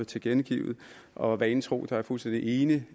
tilkendegivet og vanen tro er jeg fuldstændig enig